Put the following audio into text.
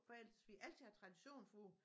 For ellers vi har altid haft tradition for